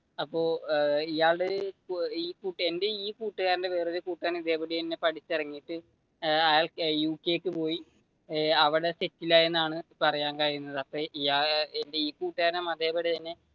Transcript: അപ്പൊ ഇയാൾ എന്റെ ഈ ഒരു കൂട്ടുകാരന്റെ വേറെയൊരു കൂട്ടുകാരൻ ഇതേപടി തന്നെ പഠിച്ചു ഇറങ്ങിയിട്ട് അയാള് യുകെക്ക് പോയി അവിടെ സെറ്റില് ആയി, ഈ കൂട്ടുകാരനും അതേപടി തന്നെ